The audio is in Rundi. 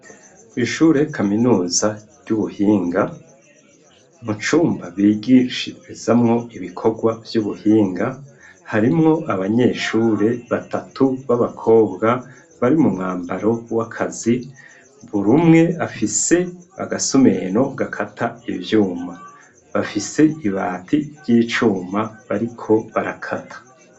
Ku ishure kaminuza ry'ubuhinga mu cumba bigishirizamwo ibikorwa vy'ubuhinga harimwo abanyeshure batatu b'abakobwa bari mu mwambaro w'akazi burumwe afise agasumeno gakata ivyuma bafise ibati ry'icuma bariko barakata.